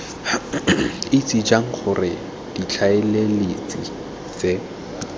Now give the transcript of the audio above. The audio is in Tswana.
itse jang gore ditlaleletsi tse